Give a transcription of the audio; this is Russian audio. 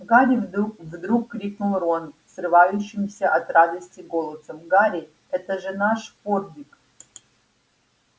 гарри вдруг вдруг крикнул рон срывающимся от радости голосом гарри это же наш форбик